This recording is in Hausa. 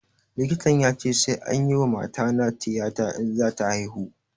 Likitan ya ce sai anyi wa matana tiyata in za ta haihu